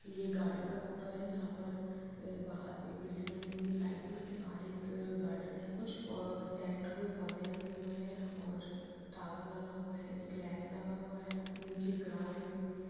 ये गार्डन का फोटो है जहाँ पर ए बाहर एक बिल्डिंग बनी हुई है साइड में उसके बाहर एक अ गार्डन है कुछ प अ सेट हुए पौधे लगे हुए हैं और टॉवर लगा हुआ है एक लैंप लगा हुआ है नीचे ग्रास लगी हुई है।